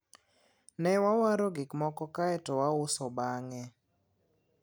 ne wawaro gikmoko kaeto wauso bange